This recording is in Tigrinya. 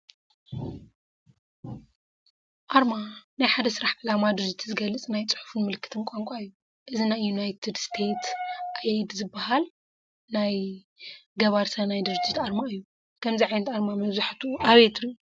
ኣርማ፡-ናይ ሓደ ስራሕ ዕላማ፣ ድርጅትን ዝገልፅ ናይ ፅሑፍን ምልክትን ቋንቋ እዩ፡፡ እዚ ናይ ዩናትዮ ስቴትስ አይድ ዝባሃል ናይ ገባሪ ሰናይ ድርጅት ኣርማ እዩ፡፡ ከምዚ ዓይነት ኣርማ መብዛሕትኡ ኣበይ ትሪኡ?